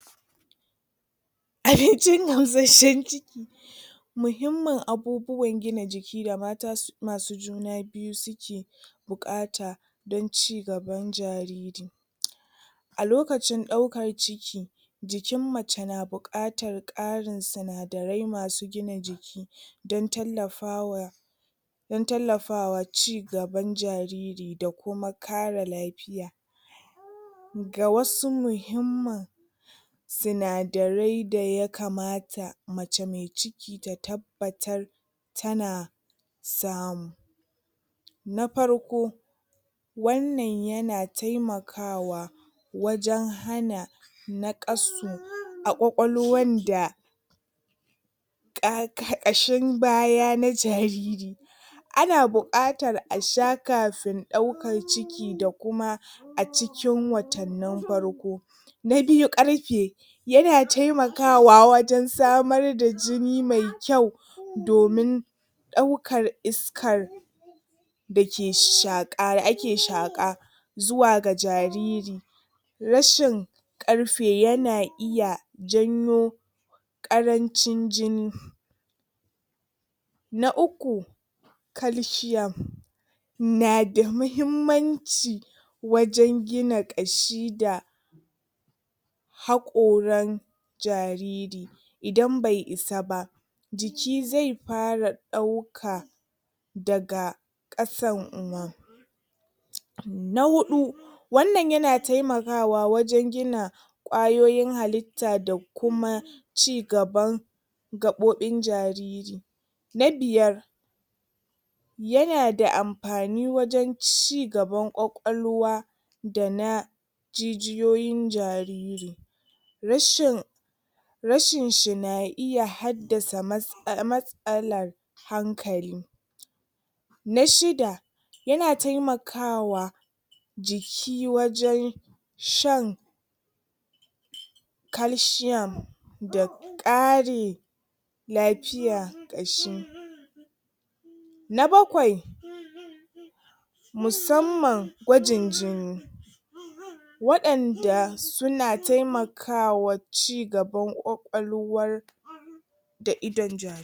abincin gamsheshen ciki muhimminin abubuwan gina jiki da mata su[um] masu juna biyu suke buƙata dan cigaban jariri a lokacin ɗaukar ciki jikn mace na buƙatar ƙarin sinadarai masu gina jiki don tallafawa don tallafawa cigaban jariri da kuma kare lafiya ga wasu muhimmin sinadarai da yakamata mace me ciki ta tabbatar tana samu na parko wananan yana temakawa wajan hana naƙasu a ƙwaƙwalwan da ƙa ƙa um ƙashin baya na jariri anan buƙatar a sha kafin ɗaukar ciki da kuma acikin watannin farko na biyu ɗarfe yana taimakawa wajan samar da jini me kyau domin ɗaukar iskar dake shaƙa da ake shaƙa zuwaga jariri rashin karfe yana iya janyo ƙarancin jini na uku calcium nada mahimmanci wajan gina ƙashi da hakoran jariri idan bai isa ba jiki zai fara ɗauka daga ƙasan na huɗu wanan yana temakawa waje gina ƙwayoyin hallitta da kuma cigaban gaɓoɓin jariri na biyar yanada anpani wajan cigaban ƙwaƙwalwa dana jijiyoyin jariri rashin rashin shi na iya haddasa mats[um] matsalan hankali na shida yana temakawa jiki wajan shan calciium da ƙari lafiya ƙashi na bakwai musamman gwajin jini waƴanda suna temaka wa cigaban ƙwaƴwalwa da idon jari